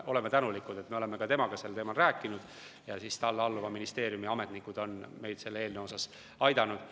Me oleme temaga sel teemal rääkinud ja talle alluva ministeeriumi ametnikud on meid selle eelnõu puhul aidanud.